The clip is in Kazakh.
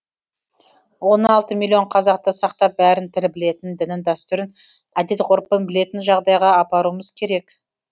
он алты миллион қазақты сақтап бәрін тір білетін дінін дәстүрін әдет ғұрпын білетін жағдайға апаруымыз керек